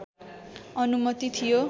अनुमति थियो